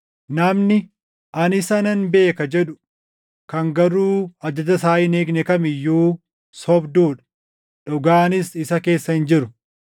Namni, “Ani isa nan beeka” jedhu kan garuu ajaja isaa hin eegne kam iyyuu sobduu dha; dhugaanis isa keessa hin jiru.